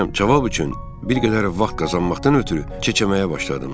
Cavab üçün bir qədər vaxt qazanmaqdan ötrü keçərməyə başladım.